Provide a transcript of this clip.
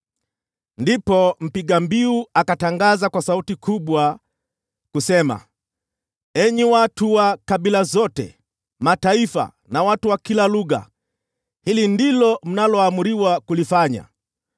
Ndipo mpiga mbiu akatangaza kwa sauti kubwa, “Enyi watu wa kabila zote, mataifa na watu wa kila lugha, hili ndilo mnaloamriwa kulifanya: